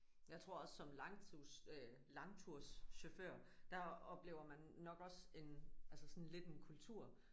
Jeg tror også som langtus øh langturschauffør der oplever man nok også en altså sådan lidt en kultur